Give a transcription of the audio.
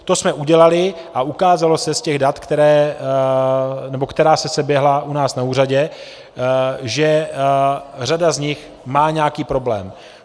To jsme udělali a ukázalo se z těch dat, která se seběhla u nás na úřadě, že řada z nich má nějaký problém.